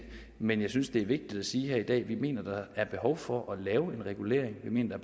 men jeg synes det er vigtigt at sige her i dag at vi mener der er behov for at lave en regulering vi mener